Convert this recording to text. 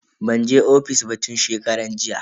Ban je ofis ba tun shekaran jiya.